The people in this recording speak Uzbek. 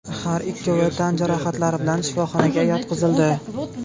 Har ikkovi tan jarohatlari bilan shifoxonaga yotqizildi.